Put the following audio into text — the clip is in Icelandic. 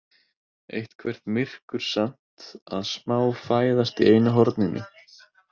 Eitthvert myrkur samt að smá fæðast í einu horninu.